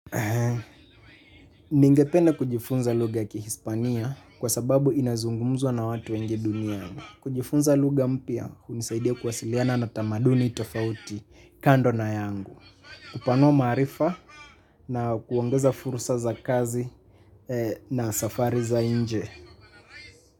Ningependa kujifunza lugha ya kihispania, kwa sababu inazungumzwa na watu wengi duniani. Kujifunza lugha mpya hunisaidia kuwasiliana na tamaduni tofauti kando na yangu. Kupanua maarifa na kuongeza fursa za kazi na safari za inje.